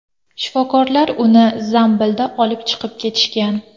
Shifokorlar uni zambilda olib chiqib ketishgan.